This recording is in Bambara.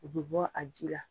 O bi bɔ a ji la